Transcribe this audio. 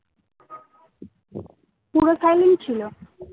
পুরো silent ছিল